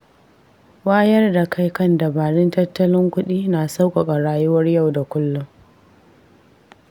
Wayar da kai kan dabarun tattalin kuɗi na sauƙaƙa rayuwar yau da kullum.